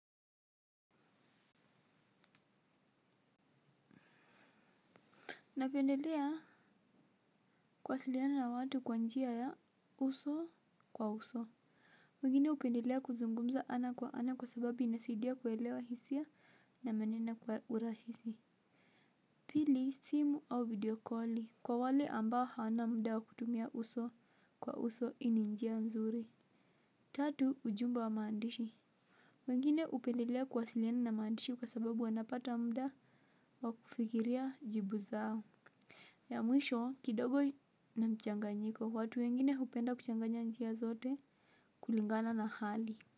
Napendelea kuwasiliana na watu kwa njia ya uso kwa uso. Mwengine upendelea kuzungumza ana kwa ana kwa sababi inasidia kwelewa hisia na manina kwa urahisi pili simu au videokoli kwa wale ambao hawana mda wa kutumia uso kwa uso hii ni njia nzuri tatu ujumbe wa maandishi wengine hupendelea kuwasiliana na maandishi kwa sababu wanapata mda wa kufikiria jibu zao ya mwisho kidogo na mchanganyiko watu wengine hupenda kuchanga njia zote kulingana na hali.